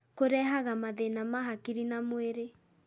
Kũrehaga mathĩna ma hakiri na mwĩrĩ.